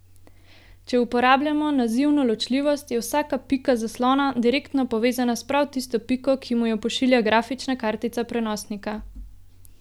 Če uporabljamo nazivno ločljivost, je vsaka pika zaslona direktno povezana s prav tisto piko, ki mu jo pošilja grafična kartica prenosnika.